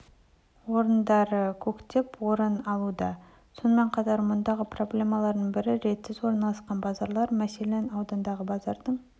орындары көптеп орын алуда сонымен қатар мұндағы проблемалардың бірі ретсіз орналасқан базарлар мәселен аудандағы базардың